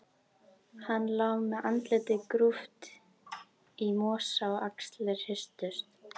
Hann lá með andlitið grúft í mosa og axlirnar hristust.